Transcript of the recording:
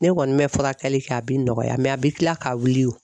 Ne kɔni bɛ furakɛli kɛ a bɛ nɔgɔya a bɛ kila k'a wili o